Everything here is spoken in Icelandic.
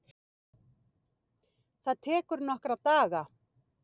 Það tekur nokkra daga.